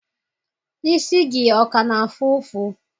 Isi gị ọ ka na-afụ ụfụ?